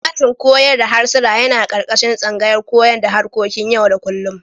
Sashin koyar da harsuna yana ƙarƙashin tsangayar koyon da harkokin yau-da-kullum.